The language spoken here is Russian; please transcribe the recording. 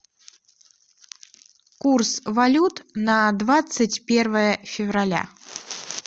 курс валют на двадцать первое февраля